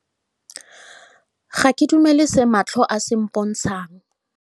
Ga ke dumele se matlho a se mpontshang.